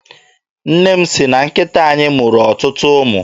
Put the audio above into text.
Nne m sị na nkịta anyị mụrụ ọtụtụ ụmụ.